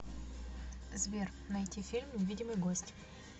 сбер найти фильм невидимый гость